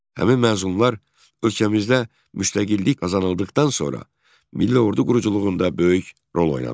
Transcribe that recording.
Həmin məzunlar ölkəmizdə müstəqillik qazanıldıqdan sonra milli ordu quruculuğunda böyük rol oynadılar.